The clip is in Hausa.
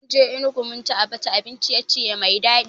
Munje Enugu munci Abacha abin ciye-ciye mai daɗi